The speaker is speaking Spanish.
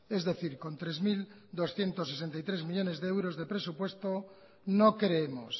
es decir con tres mil doscientos sesenta y tres millónes de euros de presupuesto no creemos